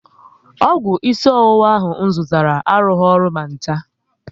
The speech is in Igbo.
Ọgwụ isi ọwụwa ahụ m zụtara arughi ọrụ ma ncha